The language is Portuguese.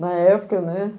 Na época, né?